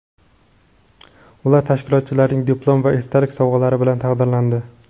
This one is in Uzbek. Ular tashkilotchilarning diplom va esdalik sovg‘alari bilan taqdirlandi.